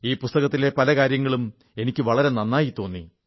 ഈ പുസ്തകത്തിലെ പല കാര്യങ്ങളും എനിക്കു വളരെ നന്നായി തോന്നി